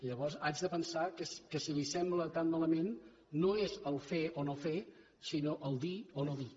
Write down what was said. llavors haig de pensar que si li sembla tan malament no és fer o no fer sinó dir o no dir